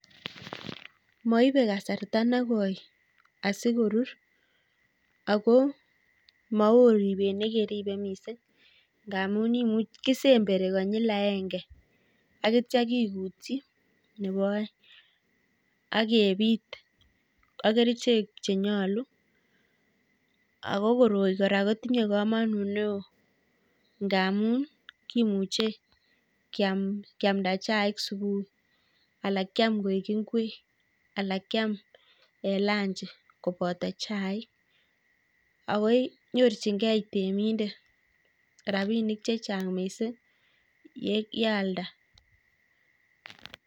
Maibe kasarta nekoi asikorur ako maoo ribet nekeribe miising' ngaamun kisemberi konyil aenge akitcha kikutchi nebo aeng' akebiit ak kerichek chenyolu ako koroi kora kotinye komonut neoo ngaamun kimuche kiamda chaik subui alak kiam koek ngwek alak kiam lunch koboto chaik akoi nyorchingei temindet rabinik chechang' miising' yealda